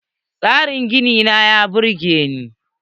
Tsarin ginin nan ya burge ni.